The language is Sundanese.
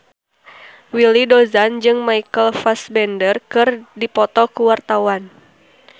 Willy Dozan jeung Michael Fassbender keur dipoto ku wartawan